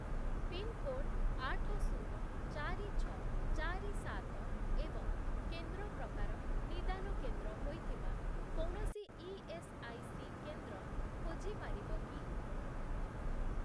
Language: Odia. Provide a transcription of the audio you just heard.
ପିନ୍‌କୋଡ୍ ଆଠ, ଶୂନ, ଚାରି, ଛଅ, ଚାରି, ସାତ ଏବଂ କେନ୍ଦ୍ର ପ୍ରକାର 'ନିଦାନ କେନ୍ଦ୍ର' ହୋଇଥିବା କୌଣସି ଇଏସ୍ଆଇସି କେନ୍ଦ୍ର ଖୋଜିପାରିବ କି?